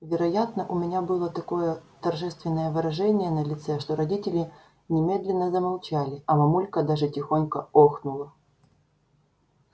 вероятно у меня было такое торжественное выражение на лице что родители немедленно замолчали а мамулька даже тихонько охнула